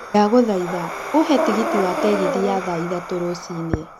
ndagũthaitha uhe tigiti wa tegithi ya thaa ithatũ rũcinĩ